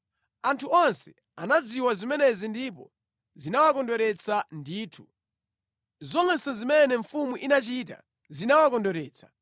Anthu onse anadziwa zimenezi ndipo zinawakondweretsa ndithu. Zonse zimene mfumu inachita zinawakondweretsa.